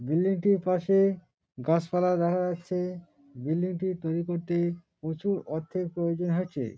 Building -টির পাশে গাছপালা দেখা যাচ্ছে | বিল্ডিং -টি তৈরী করতে প্রচুর অর্থের প্রয়োজন হয়েছে ।